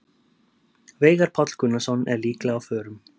Veigar Páll Gunnarsson er líklega á förum.